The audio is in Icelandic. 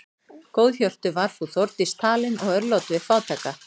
Góðhjörtuð var frú Þórdís talin og örlát við fátæka.